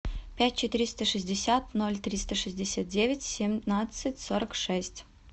пять четыреста шестьдесят ноль триста шестьдесят девять семнадцать сорок шесть